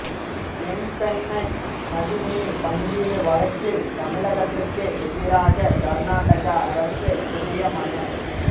தென்பெண்ணை நதி நீர் பங்கீடு வழக்கில் தமிழகத்துக்கு எதிராக கர்நாடக அரசு புதிய மனு